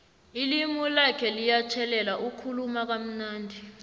ilimi lakho liyatjhelela ukhuluma kamnandi